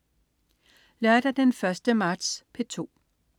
Lørdag den 1. marts - P2: